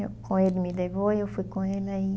Com ele me levou e eu fui com ele aí.